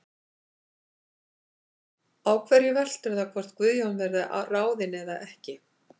Á hverju veltur það hvort að Guðjón verði ráðinn eða ekki?